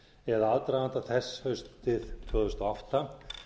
eða aðdraganda þess haustið tvö þúsund og átta